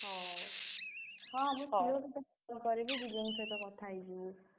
ହଉ, जीजु ଙ୍କ ସହିତ କଥା ହେଇ ଯିବୁ।